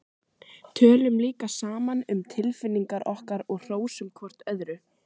Tölum líka saman um tilfinningar okkar og hrósum hvort öðru.